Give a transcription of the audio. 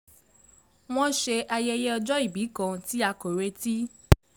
wọ́n ṣe ayẹyẹ ọjọ́ ìbí kan tí a kò retí